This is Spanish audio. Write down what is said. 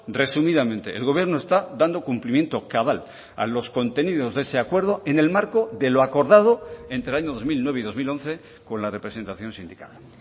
resumidamente el gobierno está dando cumplimiento cabal a los contenidos de ese acuerdo en el marco de lo acordado entre el año dos mil nueve y dos mil once con la representación sindical